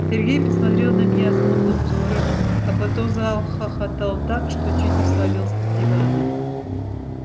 сергей посмотрел на меня смутным взором а потом захохотал так что чуть не свалился с дивана